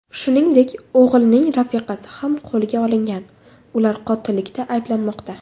Shuningdek, o‘g‘ilning rafiqasi ham qo‘lga olingan, ular qotillikda ayblanmoqda.